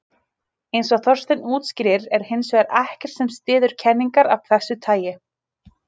Eins og Þorsteinn útskýrir er hins vegar ekkert sem styður kenningar af þessu tagi.